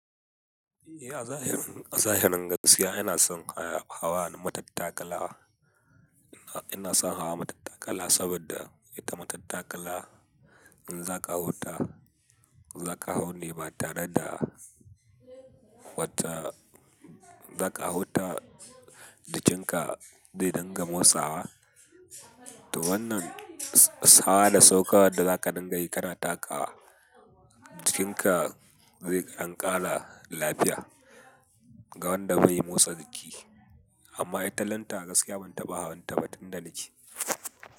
Eh a zahirin, a zahirin gaskiya ina son kaya hawa matattakala. Ina son hawa matattakala saboda ita matattakala in zaka huta, zaka hau ne ba tare da wata-- zaka hauta jikinka zai dinga motsawa. To wannan s-- hawa da saukowa wadda zaka dinga yi kana takawa jikinka zai dan ƙara lafiya ga wanda bai yi motsa jiki. Amma italanta gaskiya ban taɓa hawan ta ba tun da nake.